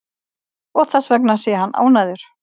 Og þessvegna sé hann ánægður